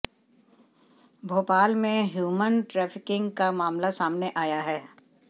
भोपाल में human trafficking का मामला सामने आया है